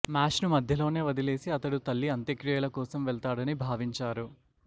మ్యాచ్ను మధ్యలోనే వదిలేసి అతడు తల్లి అంత్యక్రియల కోసం వెళ్తాడని భావించారు